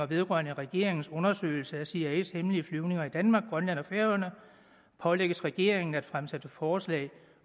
vedrørende regeringens undersøgelse af cias hemmelige flyvninger i danmark grønland og færøerne pålægges regeringen at fremsætte forslag